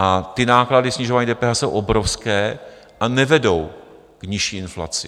A ty náklady snižování DPH jsou obrovské a nevedou k nižší inflaci.